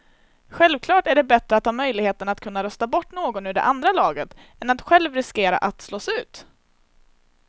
Självklart är det bättre att ha möjligheten att kunna rösta bort någon ur det andra laget än att själv riskera att slås ut.